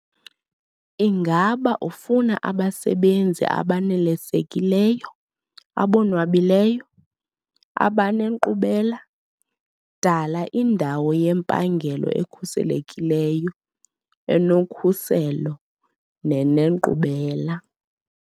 Ingaba ufuna abasebenzi abanelisekileyo, abonwabileyo, abanenkqubela - dala indawo yempangelo ekhuselekileyo, enokhuselo nenenkqubela.